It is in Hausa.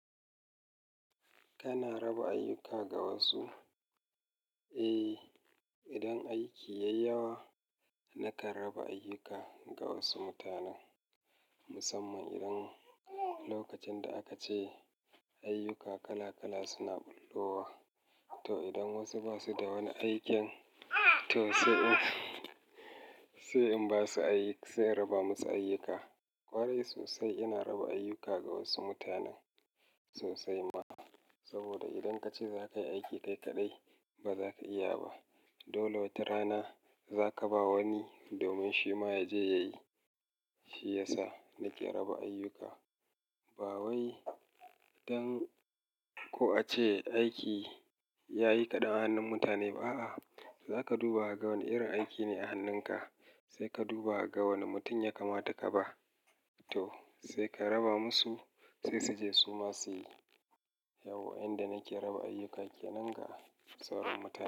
Kana raba ayyuka ga wasu? Eh, idan aiki ya yi yawa, na karaba ayyuka ga wasu mutanen. Musamman idan lokacin da aka ce ayyuka kala kala suna ɓullowa. To idan wasu ba su da wani aikin, to sai in sai in ba su aiki, sai in raba musu ayyuka. Kwarai sosai ina raba ayyuka ga wasu mutanen sosai ma. Saboda idan kace zakayi aiki kai kaɗai, baza ka iya ba. Dole wata rana zaka ba wani domin shi ma ya je ya yi. Shi yasa nake raba ayyuka. Ba wai don ko a ce aiki yayi kaɗan a hannun mutane ba a. Zaka duba ga wane irin aiki ne a hannunka, sai ka duba ga wane mutum ya kamata ka ba. To sai ka raba musu sai su je su ma su yi. Yau wanda nake raba ayuka kenan ga sauran mutane.